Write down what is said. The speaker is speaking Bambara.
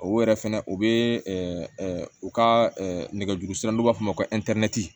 O yɛrɛ fɛnɛ o be u ka nɛgɛso n'u b'a f'o ma